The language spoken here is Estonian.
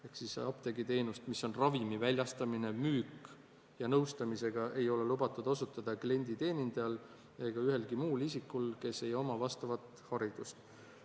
Ehk siis apteegiteenust, mis on ravimi väljastamine, müük, ja nõustamine, ei ole lubatud osutada klienditeenindajal ega ühelgi muul isikul, kes ei oma vastavat haridust.